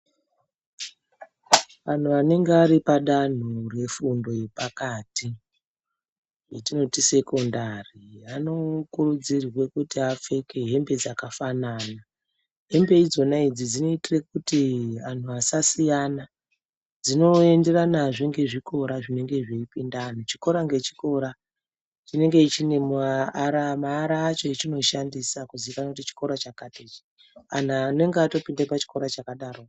Antu anenge ari padamho refundo yepakati, yetinoti sekondari inokurudzirwa kuti apfeke hembe dzakafanana. Hembe idzona idzi dzinoitire kuti antu asasiyana dzinoenderanazve ngezvikora zvinengezveipinda vantu chikora ngechikora chinenge chine maara acho achinoshandisa kuzikana kuti chikora chakati ichi. Antu anenge atoenda pachikora chakadaro.